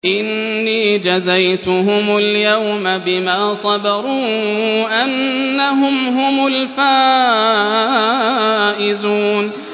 إِنِّي جَزَيْتُهُمُ الْيَوْمَ بِمَا صَبَرُوا أَنَّهُمْ هُمُ الْفَائِزُونَ